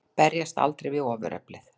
Berjast aldrei við ofureflið.